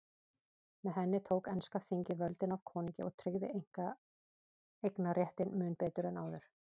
Með henni tók enska þingið völdin af konungi og tryggði einkaeignarréttinn mun betur en áður.